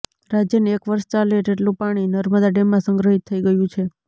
રાજયને એક વર્ષ ચાલે તેટલું પાણી નર્મદા ડેમમાં સંગ્રહિત થઈ ગયું છે